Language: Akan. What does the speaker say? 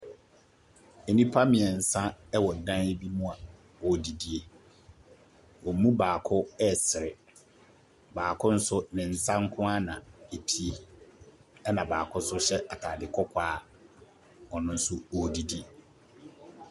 Nnipa mmeɛnsa wc dan bi mu a wɔredidie. Wɔn mu baako resere, baako nso, ne nsa nko ara na epue, ɛnna baako nso hyɛ atade kɔkɔɔ a ɔno nso, ɔredidi.